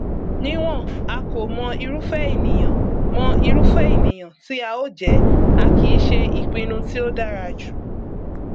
níwọn a kò mọ irúfẹ ènìyàn mọ irúfẹ ènìyàn tí a ó jẹ a kìí ṣe ìpinnu tí ó dára jù